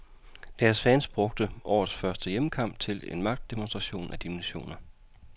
Deres fans brugte årets første hjemmekamp til en magtdemonstration af dimensioner.